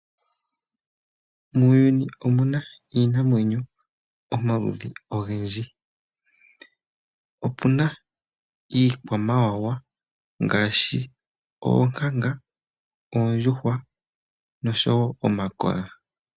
Muuyuni omuna iinamwenyo omaludhi ogendji. Opuna iikwamawawa ngaashi oonkanga, oondjuhwa noshowo omakola.